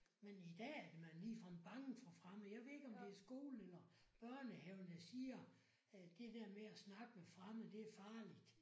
Men i dag er man ligefrem fremmede for fremmede. Jeg ved ikke om det er skolen eller børnehaven der siger at det der med at snakke med fremmede det er farligt